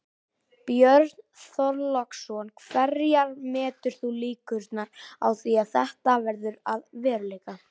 Björn Þorláksson: Hverjar metur þú líkurnar á því að þetta verði að veruleika?